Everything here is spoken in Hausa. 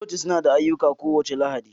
Coci suna da ayyuka kowace Lahadi.